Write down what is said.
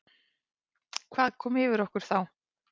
Hvað kom yfir okkur þá?